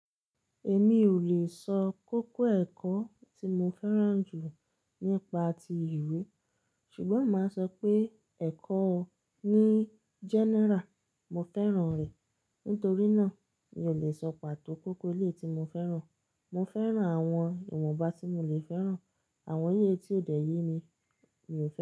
Èmi ò lè sọ kókó ẹ̀kọ́ tí mo fẹ́ràn jù nípa ti ìwé, ṣùgbọ́n màá sọ pé ẹ̀kọ́ ó ní general mo fẹ́ràn rẹ̀. Nítorí náà mi ò lè sọ pàtó kókó ilé tí mo fẹ́ràn. Mo fẹ́ràn àwọn ìwọ̀nba tí mo le fẹ́ràn, àwọn èlé è tí ó dẹ̀ yé mi, mi ò fẹ́